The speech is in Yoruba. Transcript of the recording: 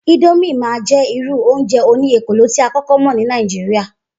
Idomine máa jẹ́ irú oúnjẹ òní ekòló tí a kókó mọ ní Nàìjíríà